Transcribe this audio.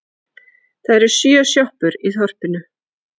Það eru sjö sjoppur í þorpinu!